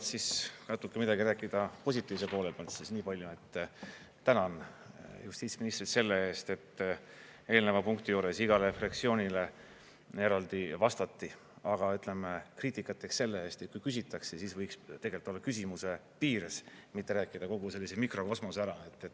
Et kõigepealt natuke midagi rääkida positiivse poole pealt, siis nii palju, et tänan justiitsministrit selle eest, et eelneva punkti juures igale fraktsioonile eraldi vastati, aga, ütleme, kriitikat teeks selle eest, et kui küsitakse, siis võiks tegelikult olla küsimuse piires, mitte rääkida kogu sellise mikrokosmose ära.